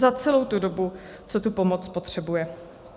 Za celou tu dobu, co tu pomoc potřebuje.